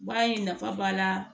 Baara in nafa b'a la